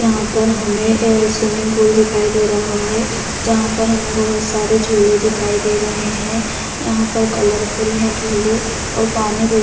यहाँ पर हमें ए सुम्मिंग पूल दिखाई दे रहा है जहां पर हमें बहुत सारे झूले दिखाई दे रहे है यहां पर कलर फुल है झूले और पानी बिल--